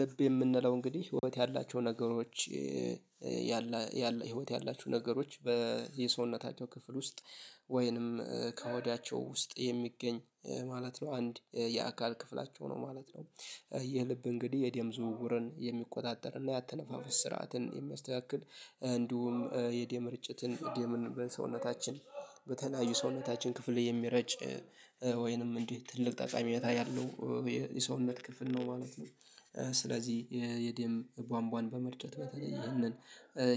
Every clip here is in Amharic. ልብ የምንለው እንግዲህ ህይወት ያላቸው ነገሮች ያለ ህይወት ያላቸው ነገሮች በየሰውነታቸው ክፍል ውስጥ ወይንም ከወዲያቸው ውስጥ የሚገኝ ማለት ነው። አንድ የአካል ክፍላቸው ነው ማለት ነው። የልብ እንግዲህ የደም ዝውውርን የሚቆጣጠርና የአተነፋፍስ ስርዓትን የሚያስተካክል እንዲሁም የደም ምርጭትን የምንበል ሰውነታችን። በተለያዩ ሰውነታችን ክፍል የሚረጭ ወይንም እንዴ ትልቅ ጠቀሜታ ያለው የሰውነት ክፍል ነው ማለት ነው። ስለዚህ የደም ቧንቧን በመርጨት በተለየ ይህንን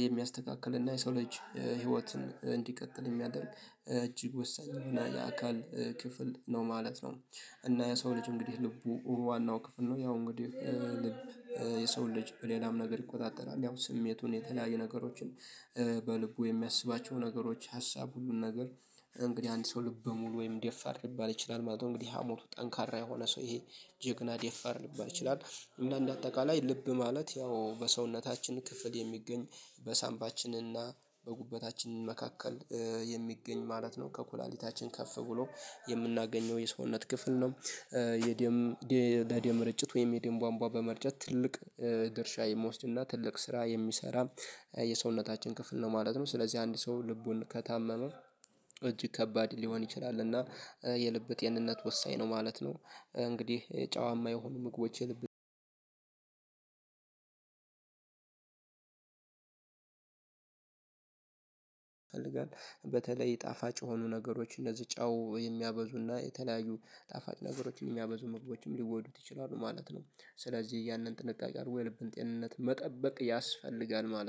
የሚያስተካክል እና የሰው ልጅ ህይወትን እንዲቀጥል የሚያደርግ እጅግ ወሳኝ የሆነ የአካል ክፍል ነው ማለት ነው። እና የሰው ልጅ እንግዲህ ልቡ ዋናው ክፍል ነው ያው እንግዲህ ልብ። የሰው ልጅ በሌላም ነገር ይቆጣጠራል ያው ስሜቱን የተለያየ ነገሮችን በልቡ የሚያስባቸው ነገሮች ሀሳብ ሁሉን ነገር። እንግዲህ አንድ ሰው ልበ ሙሉ ወይም ደፋር ልባል ይችላል ማለት ነው። እንግዲህ ሀሞቱ ጠንካራ የሆነ ሰው ይሄ ጀግና ደፋር ልባል ይችላል። እና እንደ አጠቃላይ ልብ ማለት ያው በሰውነታችን ክፍል የሚገኝ በሳምባችንና በጉበታችን መካከል የሚገኝ ማለት ነው ከኩላሊታችን ከፍ ብሎ የምናገኘው የሰውነት ክፍል ነው። የደም የደም ምርጭት ወይም የደም ቧንቧ በመርጨት ትልቅ ድርሻ የምወስድና ትልቅ ስራ የሚሰራ የሰውነታችን ክፍል ነው ማለት ነው። ስለዚህ አንድ ሰው ልቡን ከታመመ እጅ ከባድ ሊሆን ይችላል እና የልብ ጤንነት ወሳኝ ነው ማለት ነው። እንግዲህ ጨዋ የማይሆኑ ምግቦች የልብ አልጋ በተለይ ጣፋጭ የሆኑ ነገሮች እነዚህ ጫው የሚያበዙና የተለያዩ ጣፋጭ ነገሮች የሚያበዙ ህጎችም ሊወዱት ይችላሉ ማለት ነው። ስለዚህ ያንን ጥንቃቄ አድርጎ የልብን ጤንነት መጠበቅ ያስፈልጋል ማለት ነው